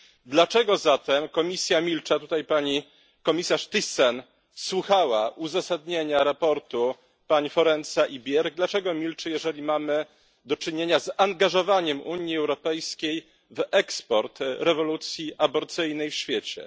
Dlaczego zatem Komisja milczy? A tutaj pani komisarz Thyssen słuchała uzasadnienia raportu pani Forenza i Björk i dlaczego milczy, jeżeli mamy do czynienia z angażowaniem Unii Europejskiej w eksport rewolucji aborcyjnej w świecie?